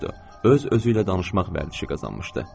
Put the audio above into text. Öz özü ilə danışmaq vərdişi qazanmışdı.